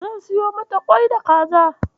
Zan siyo mata ƙwai da kaza.